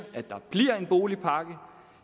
at der bliver en boligpakke og